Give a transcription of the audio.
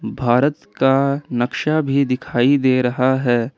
भारत का नक्शा भी दिखाई दे रहा है।